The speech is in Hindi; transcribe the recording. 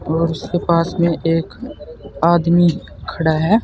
और उसके पास में एक आदमी खड़ा है।